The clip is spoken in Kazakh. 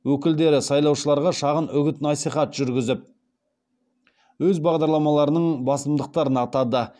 өкілдері сайлаушыларға шағын үгіт насихат жүргізіп өз бағдарламаларының басымдықтарын атады